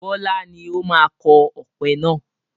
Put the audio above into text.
Bọlá ni ó máa kọ ọpẹ náà